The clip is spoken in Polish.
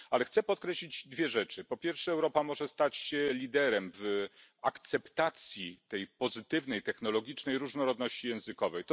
Chcę podkreślić dwie rzeczy, po pierwsze, Europa może stać się liderem w akceptacji tej pozytywnej technologicznej różnorodności językowej.